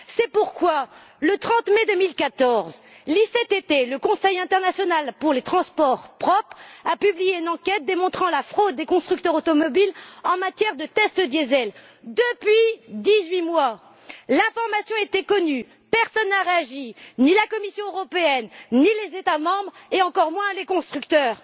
C'est pourquoi, le 30 mai 2014, l'ICCT, le Conseil international pour les transports propres, a publié une enquête démontrant la fraude des constructeurs automobiles en matière de tests diesel. Depuis dix huit mois, l'information était connue. Personne n'a réagi, ni la Commission européenne, ni les États membres et encore moins les constructeurs.